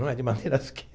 Não é de maneiras o que?